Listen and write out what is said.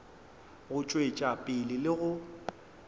go tšwetša pele le go